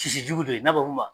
Sisi jugu do n'a ba ma.